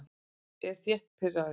Ég er þétt pirraður.